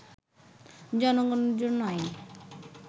জনগণের জন্য আইন